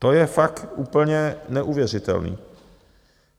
To je fakt úplně neuvěřitelný.